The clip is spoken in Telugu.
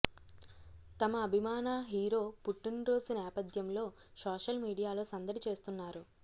తమ అభిమాన హీరో పుట్టిన రోజు నేపథ్యంలో సోషల్ మీడియాలో సందడి చేస్తున్నారు